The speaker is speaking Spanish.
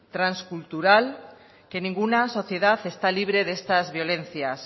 transcultural que ninguna sociedad está libre de estas violencias